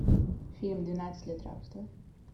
фильм двенадцать лет рабства